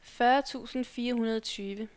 fyrre tusind fire hundrede og tyve